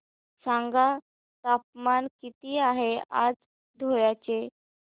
सांगा तापमान किती आहे आज धुळ्याचे